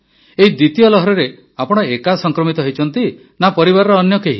ଏହି ଦ୍ୱିତୀୟ ଲହରରେ ଆପଣ ଏକା ସଂକ୍ରମିତ ହୋଇଛନ୍ତି ନା ପରିବାରର ଅନ୍ୟ କେହି